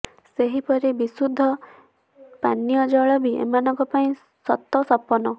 ସେହିପରି ବିଶୁଦ୍ଧ ପୀଚୟ ଜଳ ବି ଏମାନଙ୍କ ପାଇଁ ସତସପନ